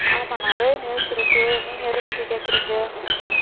ஆமா நிறைய news இருக்கு, நீங்க எதபத்தி கேக்குறீங்க?